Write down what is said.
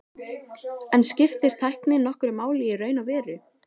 En skiptir tæknin nokkru máli í raun og veru?